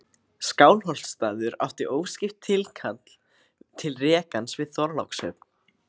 Skálholtsstaður átti óskipt tilkall til rekans við Þorlákshöfn.